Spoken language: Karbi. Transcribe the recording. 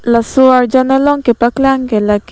Lason arjan long kapaklang k la ke--